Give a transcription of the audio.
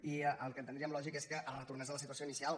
i el que entendríem lògic és que es retornés a la situació inicial